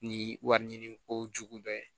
Ni wari ɲini ko jugu dɔ ye